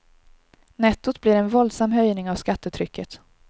Nettot blir en våldsam höjning av skattetrycket.